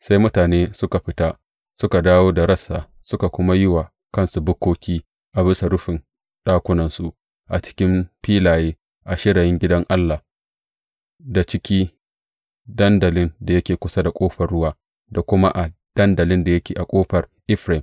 Sai mutanen suka fita suka dawo da rassa suka kuma yi wa kansu bukkoki a bisa rufin ɗakunansu, a cikin filaye, a shirayin gidan Allah, da ciki dandalin da yake kusa da Ƙofar Ruwa, da kuma a dandalin da yake a Ƙofar Efraim.